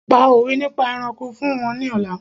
Pa òwé nípa ẹranko fún wọn ní ọ̀la!